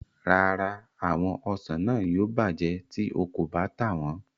Rárá, àwọn ọsàn náà yóò bàjẹ́ tí o kò bá tà wọn.